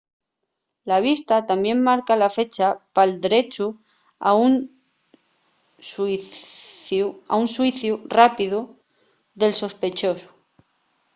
la vista tamién marca la fecha pal drechu a un xuiciu rápidu del sospechosu